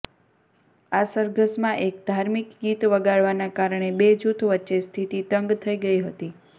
આ સરઘસમાં એક ધાર્મિક ગીત વગાડવાના કારણે બે જૂથ વચ્ચે સ્થિતિ તંગ થઈ ગઈ હતી